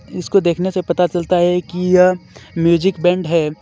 इसको देखने से पता चलता है कि यह म्यूजिक बैंड है.